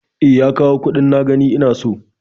E, ya kawo kuɗin na gani ina so.